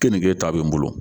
Kenige ta bɛ n bolo